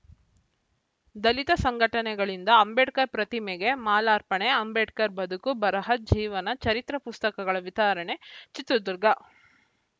ದಲಿತ ಸಂಘಟನೆಗಳಿಂದ ಅಂಬೇಡ್ಕರ್‌ ಪ್ರತಿಮೆಗೆ ಮಾಲಾರ್ಪಣೆ ಅಂಬೇಡ್ಕರ್‌ ಬದುಕು ಬರಹ ಜೀವನ ಚರಿತ್ರೆ ಪುಸ್ತಕಗಳ ವಿತರಣೆ ಚಿತ್ರದುರ್ಗ